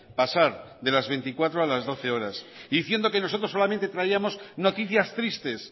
pasar de las veinticuatro a las doce horas diciendo que nosotros solamente traíamos noticias tristes